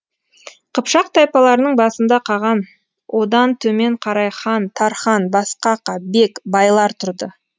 қыпшақ тайпаларының басында қаған одан төмен қарай хан тархан басқақа бек байлар тұрды